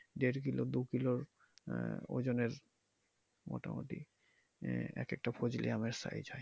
দেড় kilo দু kilo আহ ওজনের মোটামুটি আহ এক একটা ফজলি আমের size হয়।